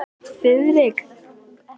Þiðrik, hvað er á áætluninni minni í dag?